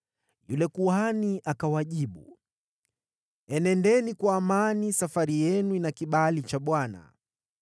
Yule kuhani akawajibu, “Enendeni kwa amani. Safari yenu ina kibali cha Bwana .”